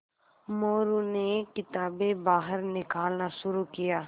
मोरू ने किताबें बाहर निकालना शुरू किया